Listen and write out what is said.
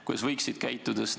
Kuidas nad võiksid käituda?